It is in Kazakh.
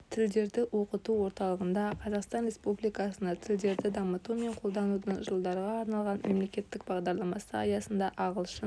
тілдерді оқыту орталығында қазақстан республикасында тілдерді дамыту мен қолданудың жылдарға арналған мемлекеттік бағдарламасы аясында ағылшын